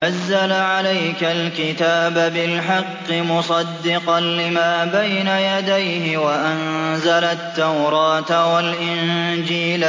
نَزَّلَ عَلَيْكَ الْكِتَابَ بِالْحَقِّ مُصَدِّقًا لِّمَا بَيْنَ يَدَيْهِ وَأَنزَلَ التَّوْرَاةَ وَالْإِنجِيلَ